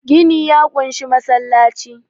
gini ya kunshi masallaci